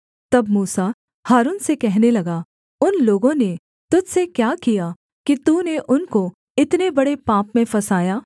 तब मूसा हारून से कहने लगा उन लोगों ने तुझ से क्या किया कि तूने उनको इतने बड़े पाप में फँसाया